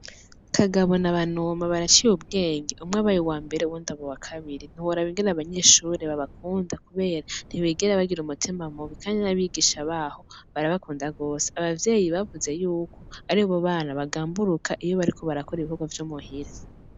Kagabo na banoma baraciye ubwenge umwe abaye uwambere uwundi aba uwa kabiri ntiworaba ingene abanyeshure babakunda kubera ntibigera bagira umutima mubi kandi n'abigisha babo barabakunda gose, abavyeyi bavuze yuko aribo bana bagamburuka iyo bariko barakora ibikorwa vyo muhira.